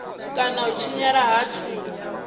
kana u tshinyala ha thundu